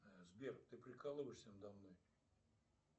сбер ты прикалываешься надо мной